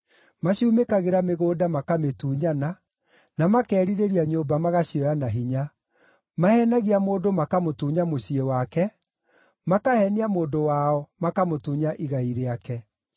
Macumĩkagĩra mĩgũnda makamĩtunyana, na makeerirĩria nyũmba magacioya na hinya. Maheenagia mũndũ makamũtunya mũciĩ wake, makaheenia mũndũ wao, makamũtunya igai rĩake.